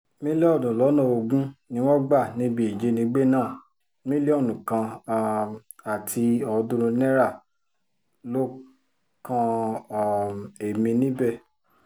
mílíọ̀nù lọ́nà ogún ni wọ́n gbà níbi ìjínigbé náà mílíọ̀nù kan um àti ọ̀ọ́dúnrún náírà ló kan um ẹ̀mí níbẹ̀